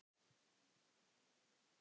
Vísan um mig er svona